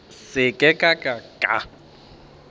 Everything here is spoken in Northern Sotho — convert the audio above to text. ke se ka ka ka